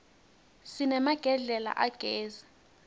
sinemagedlela agezi